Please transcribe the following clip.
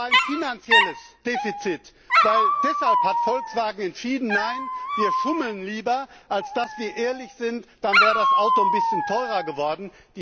Es war ein finanzielles Defizit. Deshalb hat Volkswagen entschieden, Nein, wir schummeln lieber, als dass wir ehrlich sind dann wäre das Auto ein bisschen teurer geworden.